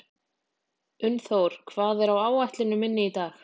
Unnþór, hvað er á áætluninni minni í dag?